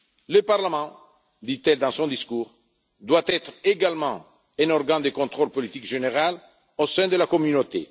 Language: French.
plus. Le Parlement, dit elle dans son discours, doit également être un organe de contrôle de politique générale au sein de la Communauté.